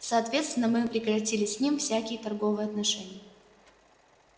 соответственно мы прекратили с ним всякие торговые отношения